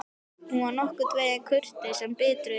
Hún var nokkurn veginn kurteis en biturðin leyndi sér ekki.